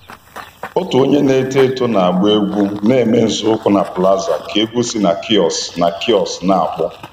Otu onye na-eto eto na-agba egwu na-eme nzọụkwụ na plaza ka egwu si na kiosk na kiosk na-akpọ